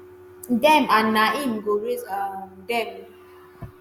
dem and na im go raise um dem.